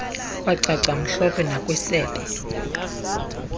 kwacaca mhlophe nakwisebe